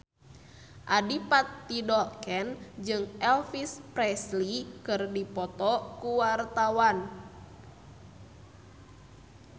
Adipati Dolken jeung Elvis Presley keur dipoto ku wartawan